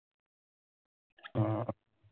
উম